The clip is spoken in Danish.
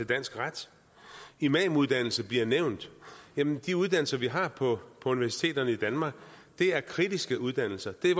dansk ret imamuddannelse bliver nævnt jamen de uddannelser vi har på universiteterne i danmark er kritiske uddannelser det er